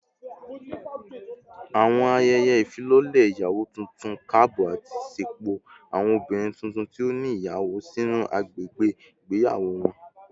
Awọn ayẹyẹ ifilọlẹ iyawo tuntun kaabọ ati ṣepọ awọn obinrin tuntun ti o ni iyawo sinu agbegbe igbeyawo wọn